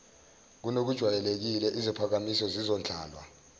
kunokujwayelekile iziphakamiso zizondlalwa